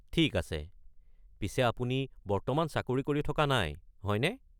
ঠিক আছে। পিছে আপুনি বৰ্তমান চাকৰি কৰি থকা নাই, হয়নে?